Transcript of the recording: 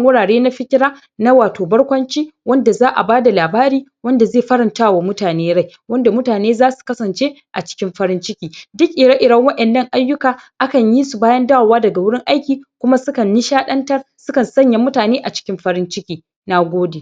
wurare na fiƙira Da za'a je ayi ban dariya Sukan ziyarci wato maya mayan Gidaje na hotel na hutawa Da dai sauran su idan suka sami dama Da kuma lokaci Sannan Rayuwar ma'aurata Rayuwa ne da yake cike da farin ciki Rayuwa ne Da ake so Wato a gudanar da shi a cikin farinc ciki Da anashuwa Yanda za'a gani Ayi koyi Don aure abune da yake da matukar mahimmanci Wato a tsakanin al'umma baki daya Na gode